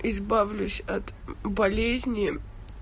избавлюсь от болезни